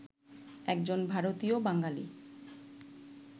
একজন ভারতীয় বাঙালি